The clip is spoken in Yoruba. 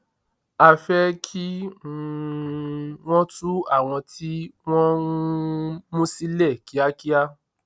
a fẹ kí um wọn tú àwọn tí wọn um mú sílẹ kíákíá